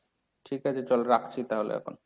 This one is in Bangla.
ঠিক আছে চল রাখছি তাহলে এখন।